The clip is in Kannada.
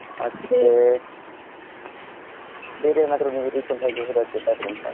ಮತ್ತೆ, ಬೇರೆ ಏನಾದ್ರು ಒಂದು recent ಆಗಿ ಹೋದದ್ದು ಎಲ್ಲಾದ್ರೂ ಉಂಟಾ?